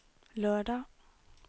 lørdag